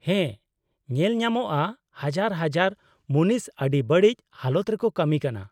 ᱦᱮᱸ, ᱧᱮᱞ ᱧᱟᱢᱚᱜᱼᱟ ᱦᱟᱡᱟᱨ ᱦᱟᱡᱟᱨ ᱢᱩᱱᱤᱥ ᱟᱹᱰᱤ ᱵᱟᱹᱲᱤᱡ ᱦᱟᱞᱚᱛ ᱨᱮᱠᱚ ᱠᱟᱹᱢᱤ ᱠᱟᱱᱟ ᱾